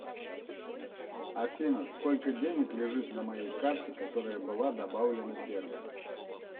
афина сколько денег лежит на моей карте которая была добавлена первая